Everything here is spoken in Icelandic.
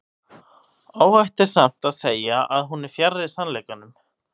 óhætt er samt að segja að hún er fjarri sannleikanum